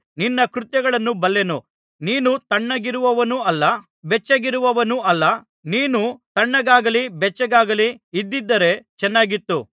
ನಿನ್ನ ಕೃತ್ಯಗಳನ್ನು ಬಲ್ಲೆನು ನೀನು ತಣ್ಣಗಿರುವವನೂ ಅಲ್ಲ ಬೆಚ್ಚಗಿರುವವನೂ ಅಲ್ಲ ನೀನು ತಣ್ಣಗಾಗಲಿ ಬೆಚ್ಚಗಾಗಲಿ ಇದ್ದಿದ್ದರೆ ಚೆನ್ನಾಗಿತ್ತು